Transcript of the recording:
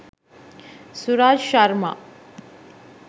suraj sharma